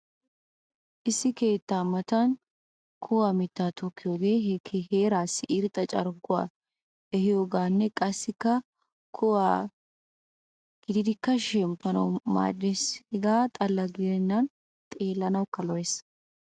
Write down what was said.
Issi keetta matan kuwaa mittaa tokkiyogee he heerassi irxxa carkkuwa ehiyogaaninne qassi kuwa gididikka shemppanawu maaddees. Hegaa xalla gidenna xeellanawukka lo'ees.